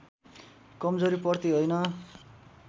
कमजोरीप्रति होइन